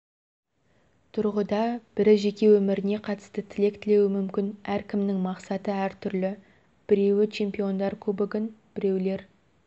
тұрғыда бірі жеке өміріне қатысты тілек тілеуі мүмкін әркімнің мақсаты әртүрлі біреуі чемпиондар кубогын біреулер